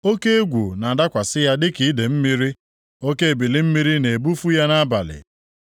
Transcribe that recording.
Oke egwu na-adakwasị ya dịka idee mmiri; oke ebili mmiri na-ebufu ya nʼabalị.